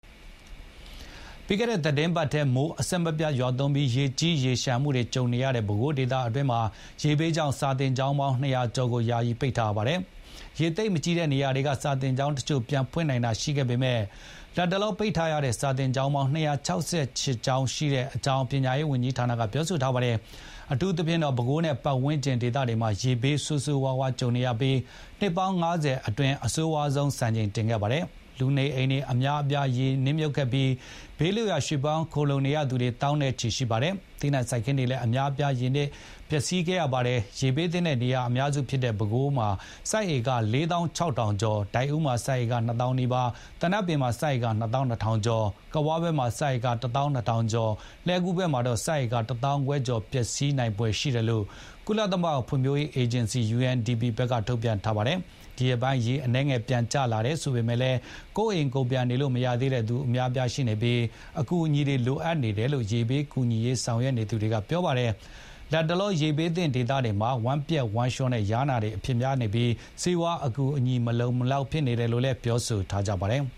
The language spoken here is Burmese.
ပြီးခဲ့တဲ့သီတင်းပတ်ထဲ မိုးအဆက်မပြတ် ရွာသွန်းပြီး ရေကြီးရေလျှံမှုတွေ ကြုံနေရတဲ့ ပဲခူးတိုင်းဒေသအတွင်းမှာ ရေဘေးကြောင့် စာသင်ကျောင်း ၂၀၀ ကျော်ကို ယာယီ ပိတ်ထားရပါတယ်။ ရေသိပ်မကြီးတဲ့ နေရာတွေက စာသင်ကျောင်း တချို့ ပြန်ဖွင့်နိုင်တာ ရှိပေမဲ့ လတ်တလော ပိတ်ထားရတဲ့ စာသင်ကျောင်းပေါင်း ၂၆၈ ကျောင်းရှိတဲ့အကြောင်း ပညာရေးဌာနက ပြောဆိုထားပါတယ်။ အထူးသဖြင့် ပဲခူးမြို့နဲ့ ပတ်ဝန်းကျင်ဒေသတွေမှာ ရေဘေးဒဏ် ဆိုးဆိုးရွားရွား ကြုံနေရပြီး နှစ်ပေါင်း ၅၀ အတွင်း အဆိုးရွားဆုံး စံချိန်တင်ခဲ့ပါတယ်။ လူနေအိမ်တွေ အများအပြား ရေနစ်မြှုပ်ခဲ့ပြီး ဘေးလွတ်ရာ ရွှေ့ပြောင်း ခိုလုံနေရသူတွေ သောင်းနဲ့ချီ ရှိခဲ့ပါတယ်။ သီးနှံစိုက်ခင်းတွေ အများအပြားလည်း ရေနစ်မြှုပ် ပျက်စီးခဲ့ရပါတယ်။ ရေဘေးသင့်တဲ့ နေရာအများစု ဖြစ်တဲ့ ပဲခူးမှာ စိုက်ဧက ၄ သောင်း ၆ ထောင်ကျော်၊ ဒိုက်ဦးမှာ စိုက်ဧက ၂ သောင်းနီးပါး၊ သနပ်ပင်မှာ စိုက်ဧက ၂ သောင်း ၂ ထောင်ကျော်၊ ကဝ ဘက်မှာ စိုက်ဧက ၁ သောင်း ၂ ထောင်ကျော်၊ လှည်းကူးဘက်မှာတော့ စိုက်ဧက ၁ သောင်းခွဲကျော် ပျက်စီး နိုင်ဖွယ်ရှိတယ်လို့ ကုလသမဂ္ဂ ဖွံ့ဖြိုးရေးအေဂျင်စီ UNDP ဘက်က ထုတ်ပြန်ထားပါတယ်။ ဒီရက်ပိုင်း ရေအနည်းငယ် ပြန်ကျလာတယ် ဆိုပေမဲ့၊ ကိုယ့်အိမ်ကိုယ်ပြန် နေလို့မရသေးတဲ့သူတွေ အများအပြား ရှိနေဆဲ ဖြစ်ပြီး အကူအညီတွေ လိုအပ်နေတယ်လို့ ရေဘေး ကူညီ ဆောင်ရွက်နေသူတွေက ပြောပါတယ်။ လတ်တလော ရေဘေးသင့် ဒေသတွေမှာ ဝမ်းပျက်ဝမ်းလျော နဲ့ ယားနာတွေ အဖြစ်များနေပြီး ဆေးဝါး အကူအညီတွေ မလုံမလောက် ဖြစ်နေတယ်လို့လည်း ပြောဆိုကြပါတယ်။